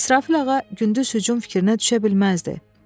İsrafil ağa gündüz hücum fikrinə düşə bilməzdi.